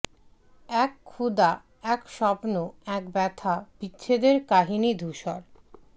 এক ক্ষুধা এক স্বপ্ন এক ব্যথা বিচ্ছেদের কাহিনী ধূসর